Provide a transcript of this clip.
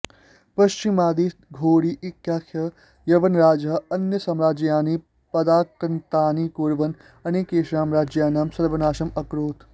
पश्चिमदिशः घोरी इत्याख्यः यवनराजा अन्यसाम्राज्यानि पदाक्रान्तानि कुर्वन् अनेकेषां राज्यानां सर्वनाशम् अकरोत्